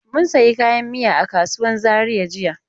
Mun sayi kayan miya a kasuwan Zaria jiya.